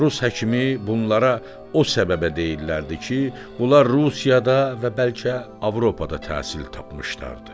Rus həkimi bunlara o səbəbə deyirdilər ki, bunlar Rusiyada və bəlkə Avropada təhsil tapmışdılar.